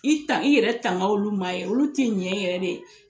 I tan i yɛrɛ tanga olu ma ye olu tɛ ɲɛ yɛrɛ de.